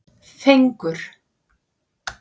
Fengur